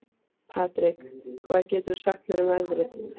Patrek, hvað geturðu sagt mér um veðrið?